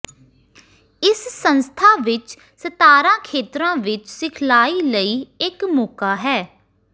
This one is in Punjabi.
ਇਸ ਸੰਸਥਾ ਵਿੱਚ ਸਤਾਰਾਂ ਖੇਤਰਾਂ ਵਿੱਚ ਸਿਖਲਾਈ ਲਈ ਇੱਕ ਮੌਕਾ ਹੈ